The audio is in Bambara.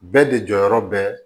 Bɛɛ de jɔyɔrɔ bɛ